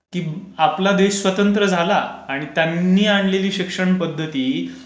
आपला देश स्वतंत्र झाला, आणि त्यांनी आणलेली शिक्षण पध्दती